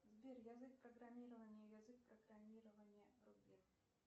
сбер язык программирования язык программирования рубин